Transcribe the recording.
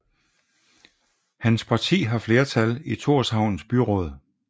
Hans parti har flertal i Thorshavns byråd